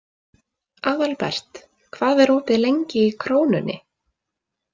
Aðalbert, hvað er opið lengi í Krónunni?